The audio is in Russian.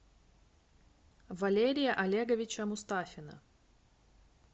валерия олеговича мустафина